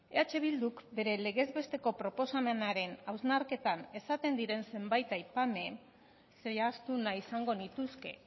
eh bilduk bere legez besteko proposamenaren hausnarketan esaten diren zenbait aipamen zehaztu nahi izango nituzke